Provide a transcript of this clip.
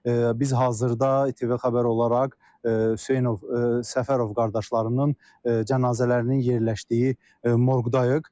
Biz hazırda İTV Xəbər olaraq Hüseynov Səfərov qardaşlarının cənazələrinin yerləşdiyi morqdayıq.